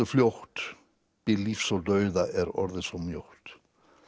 fljótt bil lífs og dauða er orðið svo mjótt